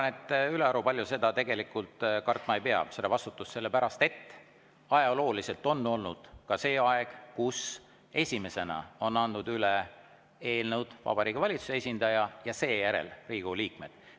Ma arvan, et ülearu palju seda vastutust kartma ei pea, sellepärast et ajalooliselt on olnud ka selline aeg, kus esimesena on eelnõud üle andnud Vabariigi Valitsuse esindaja ja seejärel Riigikogu liikmed.